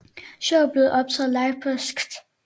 Showet blev optaget live på Skt